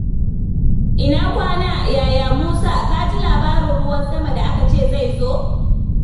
Ina kwana, Yaya Musa? Ka ji labarin ruwan sama da aka ce zai zo?